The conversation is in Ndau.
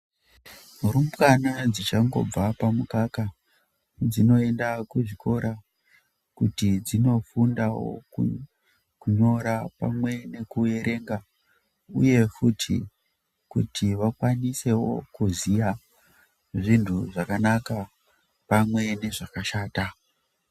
Rumbwana dzichangibva pamukaka dzinoenda kuzvikora kuti dzinofundawo kunyora pamwe nekuerenga uye kuti vakwanisewo kuziya zvintu zvakanaka pamwe nezvakashata.